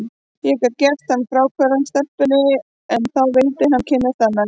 Ég gat gert hann fráhverfan stelpunni, en þá vildi hann kynnast annarri.